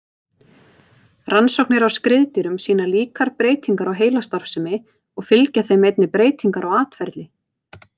Rannsóknir á skriðdýrum sýna líkar breytingar á heilastarfsemi og fylgja þeim einnig breytingar á atferli.